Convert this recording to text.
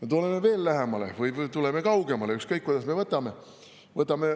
Tuleme veel lähemale või läheme kaugemale, ükskõik kuidas me võtame.